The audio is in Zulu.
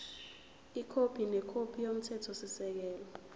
ikhophi nekhophi yomthethosisekelo